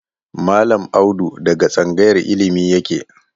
Mallam Audu daga tsangayar illimi yake.